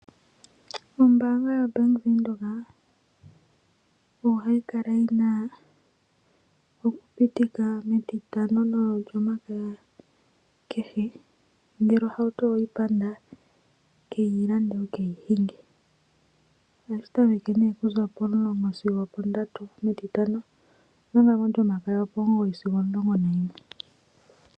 Ombaanga yoBank Windhoek ohayi kala yi na okupindika mEtitano nOlyomakaya kehe, nongele ohauto owe yi panda keyi lande wu ke yi hinge. Ohashi tameke pomulongo sigo ondatu mEtitano, omanga mOlyomakaya opomugoyi sigo opomulongo nayimwe.